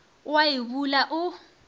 o a e bula o